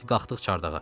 Qalxdıq çardağa.